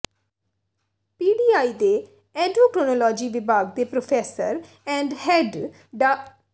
PDI ਦੇ endocrinology ਵਿਭਾਗ ਦੇ ਪ੍ਰੋਫੈਸਰ ਐਂਡ ਹੈੱਡ ਡਾ